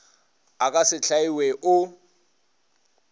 a ka se hlaiwe o